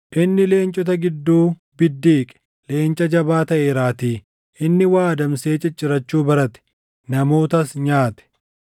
Inni leencota gidduu biddiiqe; leenca jabaa taʼeeraatii. Inni waa adamsee ciccirachuu barate; namootas nyaate.